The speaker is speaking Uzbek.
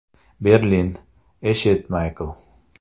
Berlin: Eshit, Maykl.